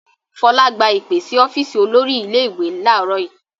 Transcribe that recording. Fọlá gba ìpè sí ọ́fíísì olórí ilé-ìwé láàárọ̀ yìí.